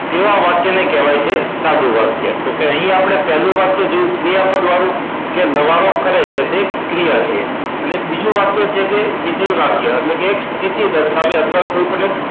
તેવા વાક્ય ને કહેવાય છે સાદું વાક્ય તો કે અહિ આપણે પહેલુ વાક્ય જેવુ ક્રિયાપદ વાળું કે લવારો કરે છે તે ક્રિયા છે અને હવે એક બીજું વાક્ય છે વિધેય વાક્ય એટલે કે સ્થિતિ દર્શાવે અથવા કોઈ પણ એક